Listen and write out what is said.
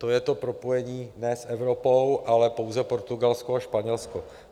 To je to propojení ne s Evropou, ale pouze Portugalsko a Španělsko.